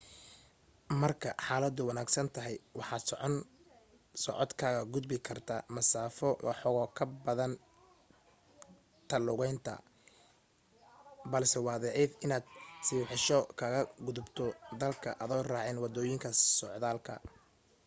marka xaaladu wanaagsan tahay waxaad socod kaga gudbi kartaa masaafo waxooga ka badan ta lugaynta balse waa dhif inaad sibibixasho kaga gudubto dalka adoo raacin waddooyinka socdaalka